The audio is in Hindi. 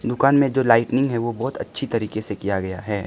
दुकान में जो लाइटनिंग है वो बहुत अच्छी तरीके से किया गया है।